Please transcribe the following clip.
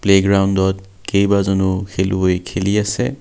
Play গ্ৰাউণ্ডত কেইবাজনো খেলুৱৈ খেলি আছে।